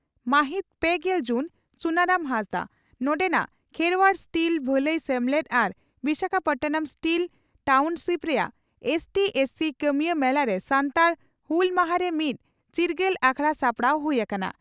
ᱢᱟᱹᱦᱤᱛ ᱯᱮᱜᱮᱞ ᱡᱩᱱ (ᱥᱩᱱᱟᱨᱟᱢ ᱦᱟᱸᱥᱫᱟᱜ) ᱺ ᱱᱚᱰᱮᱱᱟᱜ ᱠᱷᱮᱨᱚᱣᱟᱲ ᱥᱴᱤᱞ ᱵᱷᱟᱹᱞᱟᱹᱭ ᱥᱮᱢᱞᱮᱫ ᱟᱨ ᱵᱤᱥᱟᱠᱷᱟᱯᱟᱴᱱᱟᱢ ᱥᱴᱤᱞ ᱴᱟᱣᱱᱥᱤᱯ ᱨᱮᱭᱟᱜ ᱮᱥᱹᱴᱤᱹ/ᱮᱥᱹᱥᱤᱹ ᱠᱟᱹᱢᱤᱭᱟᱹ ᱢᱮᱞᱟᱨᱮ ᱥᱟᱱᱛᱟᱲ ᱦᱩᱞ ᱢᱟᱦᱟᱨᱮ ᱢᱤᱫ ᱪᱤᱨᱜᱟᱹᱞ ᱟᱠᱷᱲᱟ ᱥᱟᱯᱲᱟᱣ ᱦᱩᱭ ᱟᱠᱟᱱᱟ ᱾